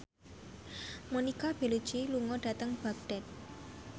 Monica Belluci lunga dhateng Baghdad